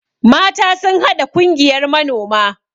mata sun haɗa Kungiyar manoma